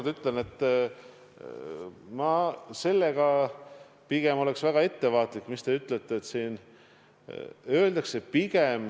Ma ütlen veel kord, et ma oleksin pigem väga ettevaatlik sellega, mis te ütlete.